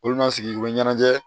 Olu bɛna sigi u bɛ ɲɛnajɛ